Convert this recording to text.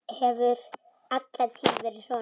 Hefur alla tíð verið svona.